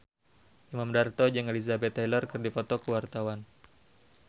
Imam Darto jeung Elizabeth Taylor keur dipoto ku wartawan